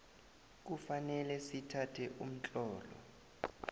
kufanele sithathe umtlolo